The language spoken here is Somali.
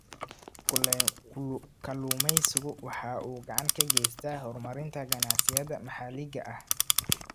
Kalluumaysigu waxa uu gacan ka geystaa horumarinta ganacsiyada maxaliga ah.